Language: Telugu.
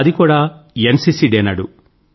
అది కూడా ఎన్సీసీ డే నాడు